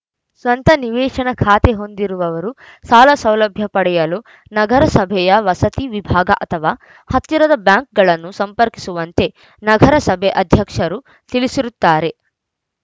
ಸ್ವಂತ ನಿವೇಶನ ಖಾತೆ ಹೊಂದಿದವರು ಸಾಲ ಸೌಲಭ್ಯ ಪಡೆಯಲು ನಗರಸಭೆಯ ವಸತಿ ವಿಭಾಗ ಅಥವಾ ಹತ್ತಿರದ ಬ್ಯಾಂಕ್‌ಗಳನ್ನು ಸಂಪರ್ಕಿಸುವಂತೆ ನಗರಸಭೆ ಅಧ್ಯಕ್ಷರು ತಿಳಿಸಿರುತ್ತಾರೆ